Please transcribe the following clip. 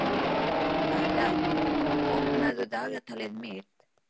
Adam, opnaðu dagatalið mitt.